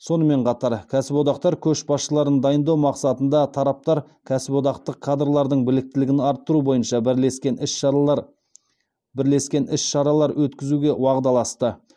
сонымен қатар кәсіподақтар көшбасшыларын дайындау мақсатында тараптар кәсіподақтық кадрлардың біліктілігін арттыру бойынша бірлескен іс шаралар бірлескен іс шаралар өткізуге уағдаласты